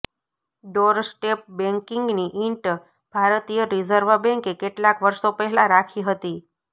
doorstep બેંકિંગની ઈંટ ભારતીય રિઝર્વ બેંકે કેટલાક વર્ષો પહેલા રાખી હતી